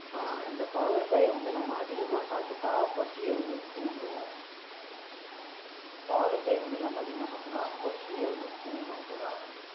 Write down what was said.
அஹ் இந்த பாகற்காய வந்து நம்ம அதிகமா சாப்பிட்டா பசிய வந்து தூண்டும் இந்த பாகற்காய் வந்து நம்ம அதிகமா சாப்பிட்டோம்னா பசியை வந்து தூண்டும்னு சொல்றாங்க